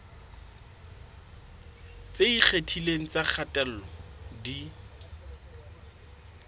tse ikgethileng tsa kgatello di